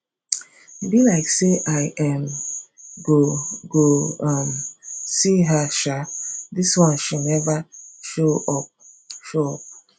e be like say i um go go um see her um dis one she never show up show up